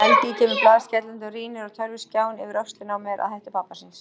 Helgi kemur blaðskellandi og rýnir á tölvuskjáinn yfir öxlina á mér að hætti pabba síns.